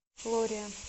лория